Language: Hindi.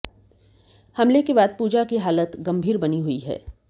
हमले के बाद पूजा की हालत गम्भीर बनी हुई है